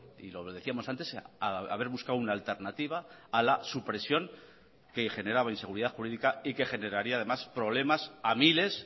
y lo decíamos antes haber buscado una alternativa a la supresión que generaba inseguridad jurídica y que generaría además problemas a miles